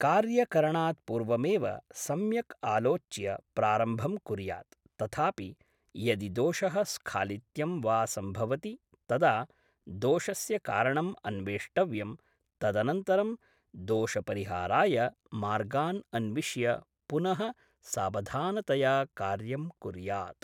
कार्यकरणात् पूर्वमेव सम्यक् आलोच्य प्रारम्भं कुर्यात् तथापि यदि दोषः स्खालित्यं वा सम्भवति तदा दोषस्य कारणं अन्वेष्टव्यं तदनन्तरं दोषपरिहाराय मार्गान् अन्विश्य पुनः सावधानतया कार्यं कुर्यात्